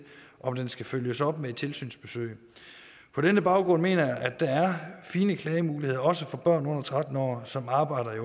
om den skal følges op med et tilsynsbesøg på den baggrund mener jeg at der er fine klagemuligheder også for børn under tretten år som arbejder i